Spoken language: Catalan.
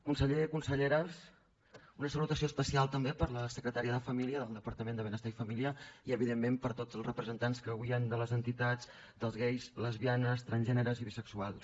consellers conselleres una salutació especial també per a la secretària de família del departament de benestar i família i evidentment per a tots els representants que avui hi han de les entitats dels gais lesbianes transgèneres i bisexuals